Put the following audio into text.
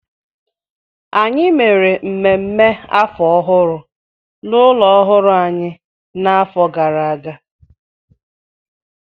Anyị mere mmemme afọ ọhụrụ n'ụlọ ọhụrụ anyị n'afọ gara aga